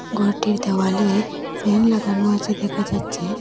ঘরটির দেওয়ালে ফ্যান লাগানো আছে দেখা যাচ্ছে।